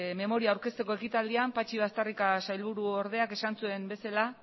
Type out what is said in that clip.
memoria aurkezteko ekitaldian patxi baztarrika sailburuordeak esan zuen bezala